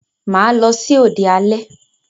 Mà á lọ sí òde alẹ́.